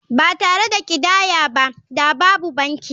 Ba tare da ƙidaya ba da babu banki.